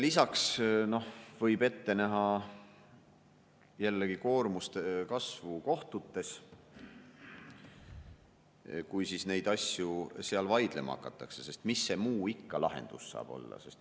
Lisaks võib ette näha jällegi koormuse kasvu kohtutes, kui neid asju seal vaidlema hakatakse, sest mis muu lahendus see ikka saab olla.